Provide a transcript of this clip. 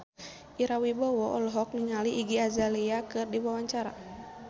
Ira Wibowo olohok ningali Iggy Azalea keur diwawancara